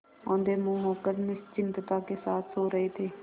औंधे मुँह होकर निश्चिंतता के साथ सो रहे थे